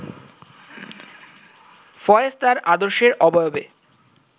ফয়েজ তাঁর আদর্শের অবয়বে